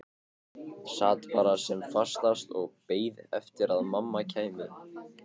Sat bara sem fastast og beið eftir að mamma kæmi.